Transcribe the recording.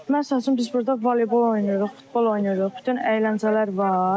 Məsəl üçün biz burda voleybol oynayırıq, futbol oynayırıq, bütün əyləncələr var.